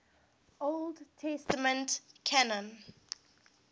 old testament canon